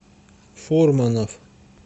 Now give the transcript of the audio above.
фурманов